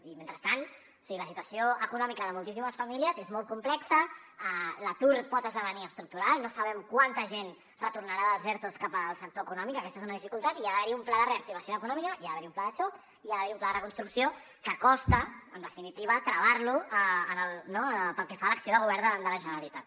i mentrestant o sigui la situació econòmica de moltíssimes famílies és molt complexa l’atur pot esdevenir estructural no sabem quanta gent retornarà dels ertos cap al sector econòmic aquesta és una dificultat i hi ha d’haver un pla de reactivació econòmica hi ha d’haver un pla de xoc i hi ha d’haver un pla de reconstrucció que costa en definitiva travar lo no pel que fa a l’acció del govern de la generalitat